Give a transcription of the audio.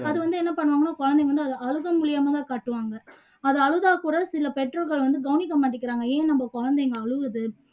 அது வந்து என்ன பண்ணுவாங்க குழந்தைங்க வந்து அதை அழுகை மூலியமா தான் காட்டுவாங்க அது அழுதா கூட சில பெற்றோர்கள் வந்து கவனிக்க மாட்டிக்குறாங்க ஏன் நாம் குழந்தைங்க அழுகுது